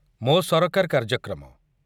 ମୋ ସରକାର କାର୍ଯ୍ୟକ୍ରମ